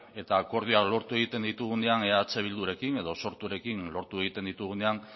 eta akordioak lortu egiten ditugunean eh bildurekin edo sorturekin lortu egiten ditugunean